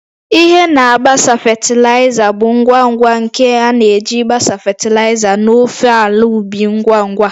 Ihe na-agbasa fatịlaịza bụ ngwa ngwa ngwa nke a na-eji gbasaa fatịlaịza n'ofe ala ubi ngwa ngwa